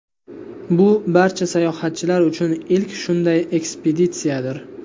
Bu barcha sayohatchilar uchun ilk shunday ekspeditsiyadir.